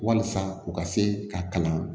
Walasa u ka se ka kalan